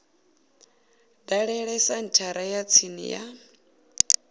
dalele senthara ya tsini ya